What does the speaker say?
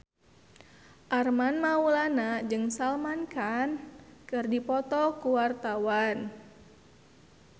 Armand Maulana jeung Salman Khan keur dipoto ku wartawan